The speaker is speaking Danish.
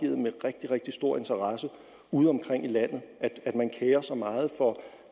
rigtig stor interesse udeomkring i landet man kerer sig meget om